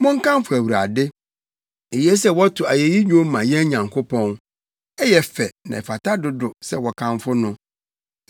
Monkamfo Awurade. Eye sɛ wɔto ayeyi nnwom ma yɛn Nyankopɔn, ɛyɛ fɛ na ɛfata dodo sɛ wɔkamfo no!